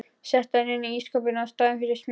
Setti hann inn í ísskáp í staðinn fyrir smjörið.